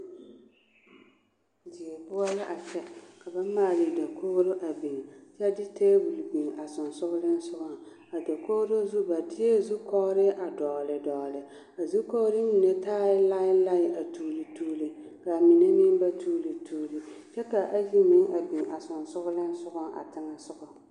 Die poɔ la a kyɛ ka ba maale dakogro a biŋ biŋ kyɛ de tabol a biŋ a soŋsooleŋ sɔŋe a dakogro zu ba deɛ zu kɔgre a doŋle doŋle a zu kɔgre mine taa lai lai a tuule tuule kyɛ ka ayi meŋ biŋ a soŋsooleŋ.